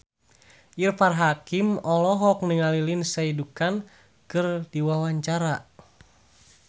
Irfan Hakim olohok ningali Lindsay Ducan keur diwawancara